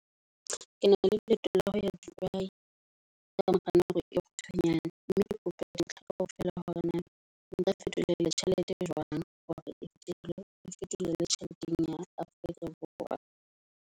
Ke na le leeto la ho ya Dubai ka mora nako e kgutshwanyane mokganni. Mme le kope di ntlha kaofela hore na nka fetolela tjhelete ena jwang hore ketlo e fetolela tjheleteng ya Afrika Borwa.